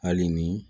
Hali ni